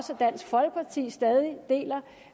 dansk folkeparti stadig deler